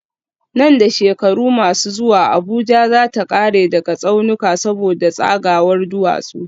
Nan da shekaru masu zuwa Abuja za ta kare daga tsaunuka saboda tsagawar duwatsu